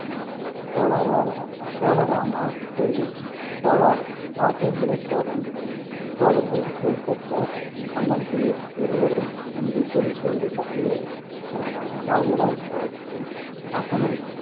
கோலாரா~ ரா~ கோலராமா கோயில் கோலார் இராஜேந்திர சோழன் சோழர்கள் புகழ்பெற்ற மன்னர்களுள் ஒருவரும் தஞ்சை பெரிய கோவிலை கட்டியவருமான இராஜராஜ சோழனின் மகனும்,